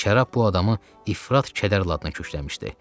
Şərab bu adamı ifrat kədər ladına kökləmişdi.